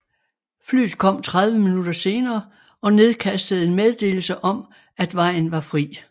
Flyet kom 30 minutter senere og nedkastede en meddelelse om at vejen var fri